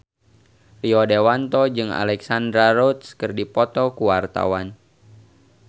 Rio Dewanto jeung Alexandra Roach keur dipoto ku wartawan